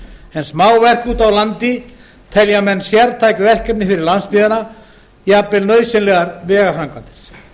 en smáverk úti á landi telja menn sértæk verkefni fyrir landsbyggðina jafnvel nauðsynlegar vegaframkvæmdir